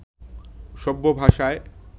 সভ্য ভাষায়